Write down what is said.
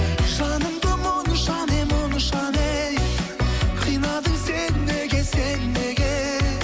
жанымды мұнша не мұнша не қинадың сен неге сен неге